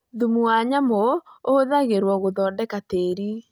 Thumu wa nyamũ ũhũthagĩrũo gũthondeka tĩri.